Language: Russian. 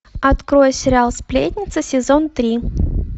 открой сериал сплетницы сезон три